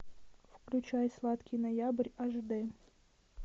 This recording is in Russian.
включай сладкий ноябрь аш дэ